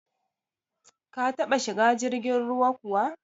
Ka taba shiga jirgin ruwa kuwa?